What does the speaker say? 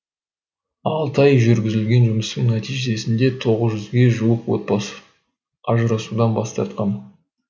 алты ай жүргізілген жұмыстың нәтижесінде тоғыз жүзге жуық отбасы ажырасудан бас тартқан